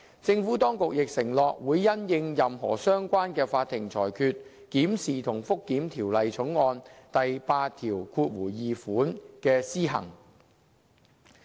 政府當局亦承諾會因應任何相關的法庭裁決，檢視和覆檢《條例草案》第82條的施行。